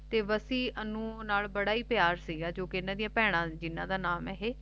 ਤੇ ਵੱਸੀ ਅੰਨੁ ਨਾਲ ਬੜਾ ਹੈ ਪਿਆਰ ਸੀ ਗਯਾ ਜੋ ਕ ਬਹਿਣਾ ਇੰਨ੍ਹਾ ਦੀਆਂ ਦਾ ਨਾਮ ਹੈ